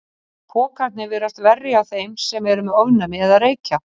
Pokarnir virðast verri hjá þeim sem eru með ofnæmi eða reykja.